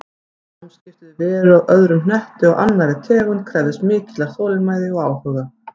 Samskipti við veru af öðrum hnetti og af annarri tegund krefðist mikillar þolinmæði og áhuga.